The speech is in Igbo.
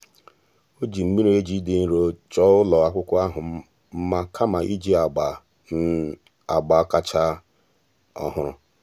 ọ́ jìri mmiri-eji dị nro chọ́ọ́ ụ́lọ́ ákwụ́kwọ́ ahụ́ mma kama iji agba um agba kàchàsị́ ọ́hụ́rụ́. um